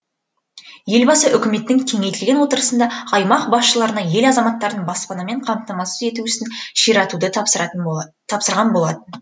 елбасы үкіметтің кеңейтілген отырысында аймақ басшыларына ел азаматтарын баспанамен қамтамасыз ету ісін ширатуды тапсырған болатын